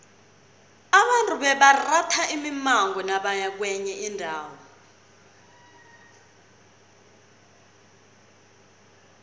abantu bebaratha imimango nabaya kwenye indawo